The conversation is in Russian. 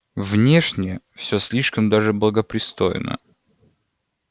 внешне всё слишком даже благопристойно